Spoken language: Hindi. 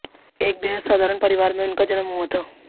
एक बेहद साधारण परिवार में उनका जन्म हुआ था